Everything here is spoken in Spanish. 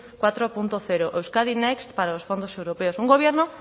cuatro punto cero euskadi next para los fondos europeos un gobierno